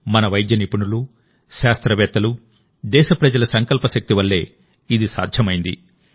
మన వైద్య నిపుణులు శాస్త్రవేత్తలు దేశప్రజల సంకల్పశక్తి వల్లే ఇది సాధ్యమైంది